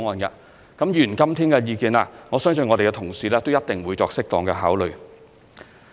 至於議員今天的意見，我相信我們的同事一定會作適當考慮。